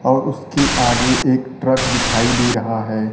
और उसके आगे एक ट्रक दिखाई दे रहा है।